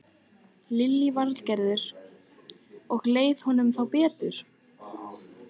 Lillý Valgerður: Og leið honum þá betur?